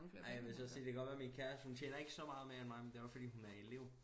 Ej jeg vil så også sige det godt være min kæreste hun tjener ikke så meget mere end mig men det også fordi hun er elev